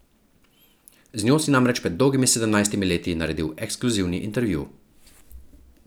Z njo si namreč pred dolgimi sedemnajstimi leti naredil ekskluzivni intervju.